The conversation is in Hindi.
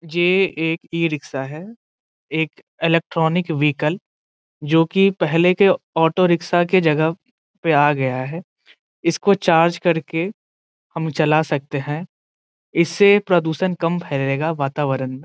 एक ई रिक्शा है एक इलेक्ट्रॉनिक व्हीकल जो की पहले के ऑटो रिक्शा के जगह पे आ गया है इसको चार्ज करके हम चला सकते है इससे प्रदूषण कम फैलेगा वातावरण में |